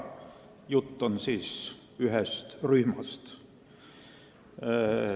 Jutt on ühest rühmast.